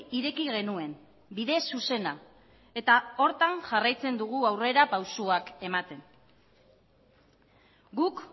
ireki genuen bide zuzena eta horretan jarraitzen dugu aurrera pausuak ematen guk